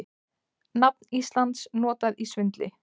Nafn Íslands notað í svindli